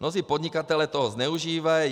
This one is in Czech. Mnozí podnikatelé toho zneužívají.